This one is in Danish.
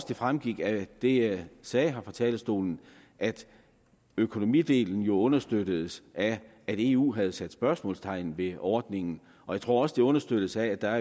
det fremgik af det jeg sagde her fra talerstolen at økonomidelen jo understøttes af at eu havde sat spørgsmålstegn ved ordningen og jeg tror også det understøttes af at der